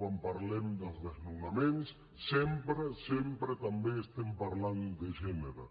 quan parlem dels desnonaments sempre sempre també estem parlant de gènere